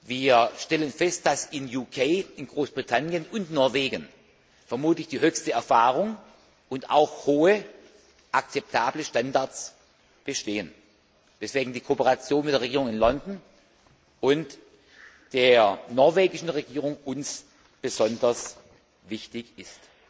Wir stellen fest, dass im VK in Großbritannien und Norwegen vermutlich die größten Erfahrungen und auch hohe akzeptable Standards bestehen, weshalb uns die Kooperation mit der Regierung in London und der norwegischen Regierung besonders wichtig ist.